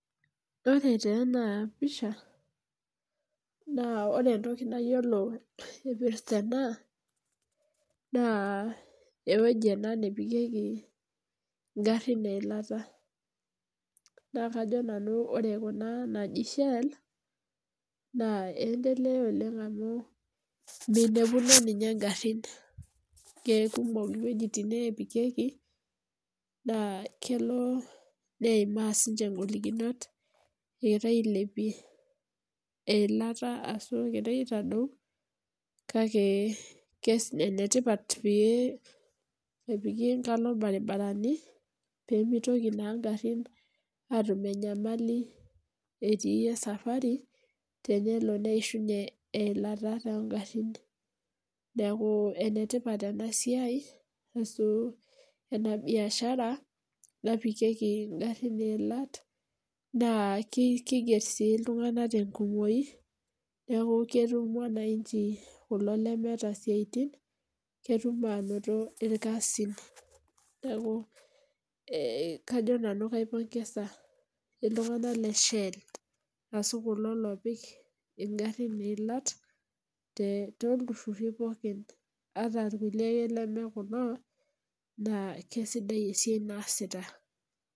Ore taa enapisha naa ore entoki nayiolo irpirta ena naa ore ena naa ewueji ena napikieki ingarin eilata , naa kajo nanu ore kuna naji shell naa endelea oleng amu minepuno ninye ngarin ,kekumok iwuejitin nepikieki naa kelo neibaa sinche ngolikinot egira ailepie eilata ashu egira aitadou kake enetipat pee epiki enkalo irbaribarani , pemitoki naa ngarin atum enyamali etii esafari tenelo neishunyie eilata tongarin , neku enetipat enasiai ashu enabiashara napikieki ingarin eilata naa kiger sii iltunganak tenkumoi neku ketum mwananchi kulo lemeeta isiatin , ketum anoto irkasin , neku kajo nanu kaipongesa iltunganak leshell ashu kulo lopik ingarin iilat toltuururi pokin ata irkulie lemekulo naa kisidai esiai naasita.